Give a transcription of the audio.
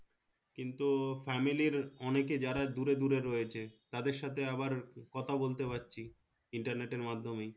কিন্তু family র অনেকে যারা দূরে দূরে রয়েছে তাদের সাথে আবার কথা বলতে পাচ্ছি internet এর মাধ্যমেই